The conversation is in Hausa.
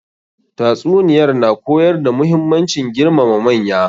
Tatsuniyar na koyar da muhimmancin girmama manya.